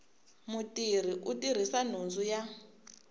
mutirhi u tirhisa nhundzu ya